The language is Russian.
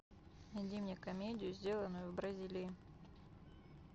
найди мне комедию сделанную в бразилии